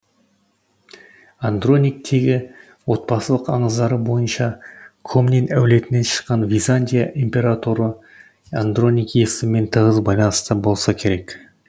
андроник тегі отбасылық аңыздары бойынша комнин әулетінен шыққан византия императоры андроник есімімен тығыз байланыста болса керек